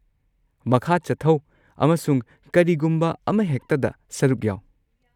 ꯃꯈꯥ ꯆꯠꯊꯧ ꯑꯃꯁꯨꯡ ꯀꯔꯤꯒꯨꯝꯕ ꯑꯃꯍꯦꯛꯇꯗ ꯁꯔꯨꯛ ꯌꯥꯎ꯫